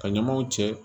Ka ɲamaw cɛ